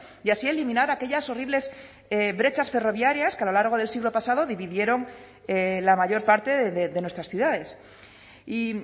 y así eliminar aquellas horribles brechas ferroviarias que a lo largo del siglo pasado dividieron la mayor parte de nuestras ciudades y